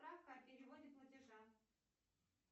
справка о переводе платежа